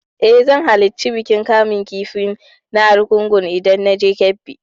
Eh, zan halarci bikin kamun kifi na argungu idan na je Kebbi.